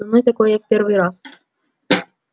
со мной такое в первый раз